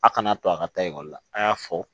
A kana to a ka taa ekɔli la a y'a fɔ